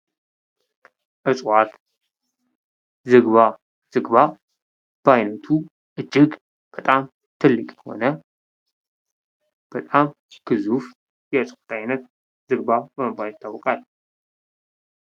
እጽዋት ዝግባ። ዝግባ በአይነቱ እጅግ በጣም ትልቅ የሆነ በጣም ግዙፍ የእጽዋት አይነት ዝግባ በመባል ይታወቃል።